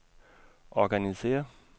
organisér